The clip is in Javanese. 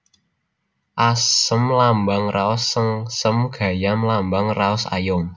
Asem lambang raos sengsem Gayam lambang raos ayom